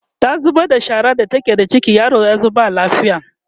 ta zubar da shara da take da ciki yaron yazo ba lafiya